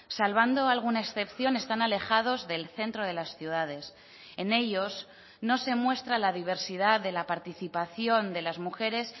salvando alguna excepción están alejados del centro de las ciudades en ellos no se muestra la diversidad de la participación de las mujeres